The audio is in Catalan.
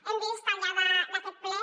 hem vist al llarg d’aquest ple